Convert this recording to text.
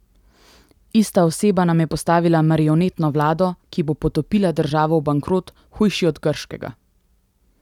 Ista oseba nam je postavila marionetno vlado, ki bo potopila državo v bankrot, hujši od grškega.